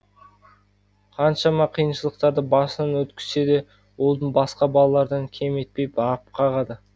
қаншама қиыншылықтарды басынан өткізсе де ұлын басқа балалардан кем етпей бағып қағады